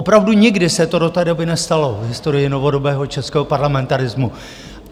Opravdu nikdy se to do té doby nestalo v historii novodobého českého parlamentarismu.